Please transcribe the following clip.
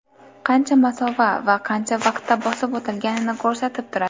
Qancha masofa va qancha vaqtda bosib o‘tilganini ko‘rsatib turadi.